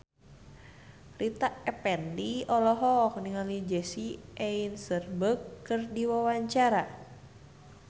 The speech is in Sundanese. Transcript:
Rita Effendy olohok ningali Jesse Eisenberg keur diwawancara